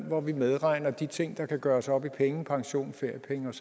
hvor vi medregner de ting der kan gøres op i penge pension feriepenge